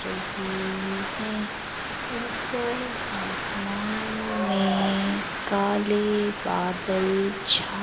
रही है ऊपर आसमान में काले बादल छा--